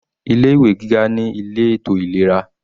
Ilé ìwé gíga ní ilé ètò ìlera.